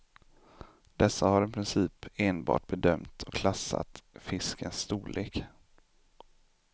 Dessa har i princip enbart bedömt och klassat fiskens storlek.